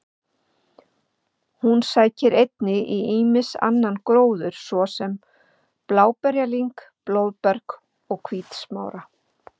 Hún sækir einnig í ýmsan annan gróður svo sem bláberjalyng, blóðberg og hvítsmára.